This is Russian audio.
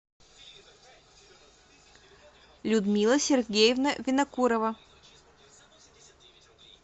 людмила сергеевна винокурова